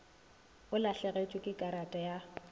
o lahlegetšwe ke karata ya